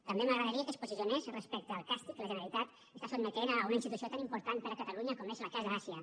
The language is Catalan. també m’agradaria que es posicionés respecte al càstig que la generalitat sotmet a una institució tan important per a catalunya com és la casa àsia